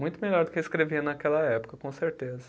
Muito melhor do que escrevia naquela época, com certeza.